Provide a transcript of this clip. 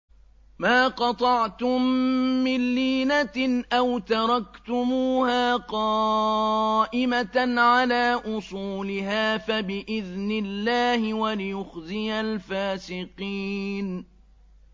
مَا قَطَعْتُم مِّن لِّينَةٍ أَوْ تَرَكْتُمُوهَا قَائِمَةً عَلَىٰ أُصُولِهَا فَبِإِذْنِ اللَّهِ وَلِيُخْزِيَ الْفَاسِقِينَ